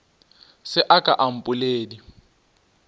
se a ka a mpoledi